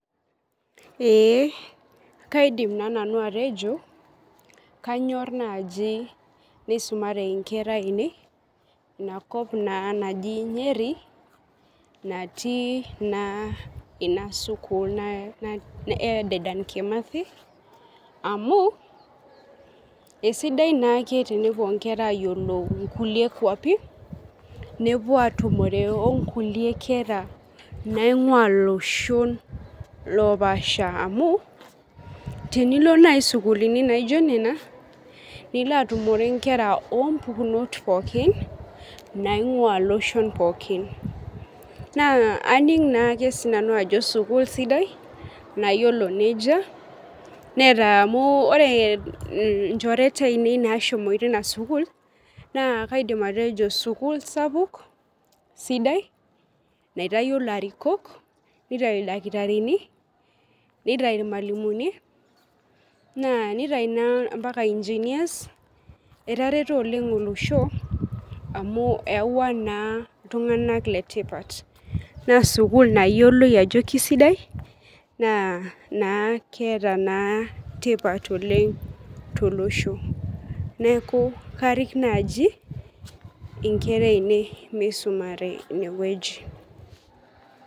Ee kaidim naji nanu atejo kanyor naji nisumare inkera inakop naa naji nyeri natii naa inasukul eDedan kimathi amu isidai naake tenepuo nkera ayiolou nkulie kwapi nepuo atumore onkuliek kera naingwaa loshon lopasha tinilo nai sukuulini naijo nena , nilo atumore nkera ompukunot pookin naingwaa iloshon pookin naa aning naake sinanu ajo sukuul sidai nayiolo nejia neeta amu ore nchoreta ainei nashomoita inasukuul naa kaidim atejo sukuul sapuk sidai naitayio ilarikok , nitau ildakitarini , nitai naa ampaka engineers , etareto oleng olosho amu eyawua naa iltunganak letipat naa sukuul nayioloi ajo kisidai na naa keeta naa tipat oleng tolosho. Neku karik naji inkera ainei misumare inewueji.